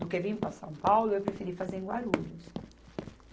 Do que vir para São Paulo, eu preferi fazer em Guarulhos.